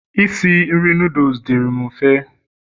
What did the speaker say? isi nri noodles dịri'm mfe